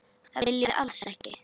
Það viljum við alls ekki.